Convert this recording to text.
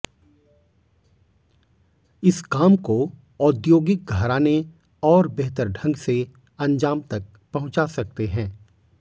इस काम को औधोगिक घराने और बेहतर ढंग से अंजाम तक पहुंचा सकते हैं